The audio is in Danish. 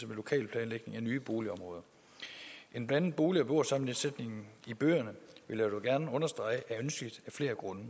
med lokalplanlægning af nye boligområder en blandet bolig og beboersammensætning i byerne vil jeg dog gerne understrege er ønskelig af flere grunde